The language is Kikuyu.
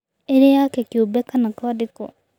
Ĩrĩ yake kĩũmbe kana kwandĩkwo